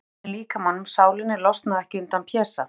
Finn til í öllum líkamanum, sálinni, losna ekki undan Pésa.